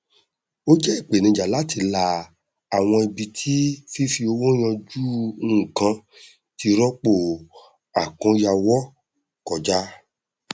ó jẹ ìpènijà láti la àwọn ibi tí fífi owó yanjú nnkan ti rọpò àkóyawọ kọjá